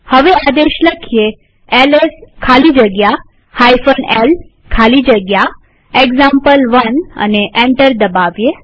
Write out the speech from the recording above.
હવે આદેશ એલએસ ખાલી જગ્યા l ખાલી જગ્યા એક્ઝામ્પલ1 લખીએ અને એન્ટર દબાવીએ